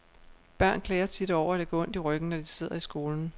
Børn klager tit over, at det gør ondt i ryggen, når de sidder i skolen.